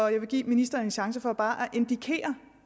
jeg vil give ministeren en chance for bare